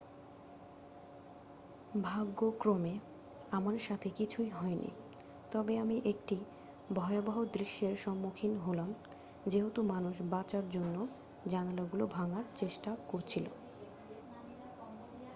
"""ভাগ্যক্রমে আমার সাথে কিছুই হয়নি তবে আমি একটি ভয়াবহ দৃশ্যের সম্মুখীন হলাম যেহেতু মানুষ বাঁচার জন্য জানলাগুলো ভাঙার চেষ্টা করছিল।